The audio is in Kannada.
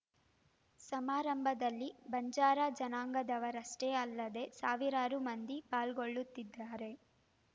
ಸಮಾರಂಭದಲ್ಲಿ ಬಂಜಾರ ಜನಾಂಗದವರಷ್ಟೇ ಅಲ್ಲದೇ ಸಾವಿರಾರು ಮಂದಿ ಪಾಲ್ಗೊಳ್ಳುತ್ತಿದ್ದಾರೆ